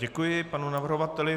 Děkuji panu navrhovateli.